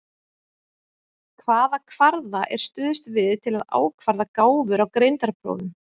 Hvaða kvarða er stuðst við til að ákvarða gáfur á greindarprófum?